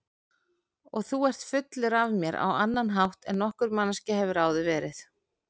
Og þú ert fullur af mér á annan hátt en nokkur manneskja hefur áður verið.